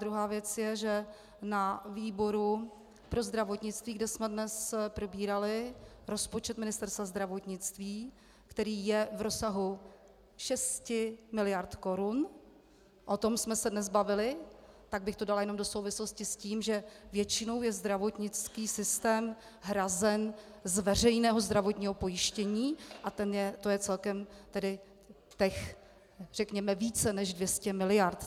Druhá věc je, že na výboru pro zdravotnictví, kde jsme dnes probírali rozpočet Ministerstva zdravotnictví, který je v rozsahu 6 miliard korun, o tom jsme se dnes bavili, tak bych to dala jenom do souvislosti s tím, že většinou je zdravotnický systém hrazen z veřejného zdravotního pojištění a to je celkem tedy těch řekněme více než 200 miliard.